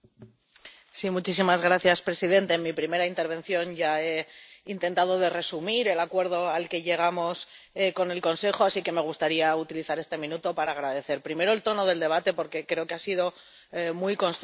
Señor presidente, en mi primera intervención ya he intentado resumir el acuerdo al que llegamos con el Consejo, así que me gustaría utilizar este minuto para agradecer primero el tono del debate, porque creo que ha sido muy constructivo.